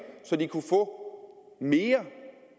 så de kunne få mere